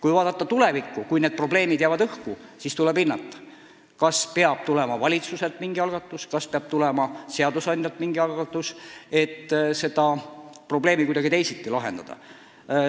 Mis puutub tulevikku, siis kui need probleemid jäävad õhku, siis tuleb hinnata, kas valitsuselt peab tulema mingi algatus, kas seadusandjalt peab tulema mingi algatus, et need probleemid kuidagi teisiti lahendada.